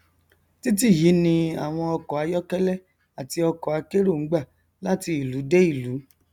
titi yìí ni àwọn ọkọ ayọkẹlẹ àti ọkọ akérò n gbà láti ìlú dé ìlú